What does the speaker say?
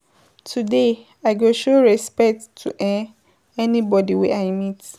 Today I go show respect to um everybodi wey I meet.